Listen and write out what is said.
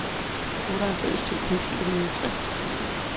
otteoghalvfems tusind syv hundrede og tres